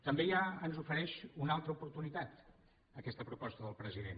també ens ofereix una altra oportunitat aquesta proposta del president